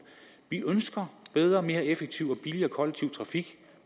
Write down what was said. vi ønsker bedre mere effektiv og billigere kollektiv trafik